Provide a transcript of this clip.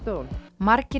margir